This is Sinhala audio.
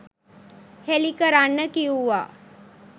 හෙළි කරන්න කිව්වා.